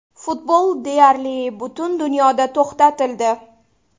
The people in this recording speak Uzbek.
Futbol deyarli butun dunyoda to‘xtatildi.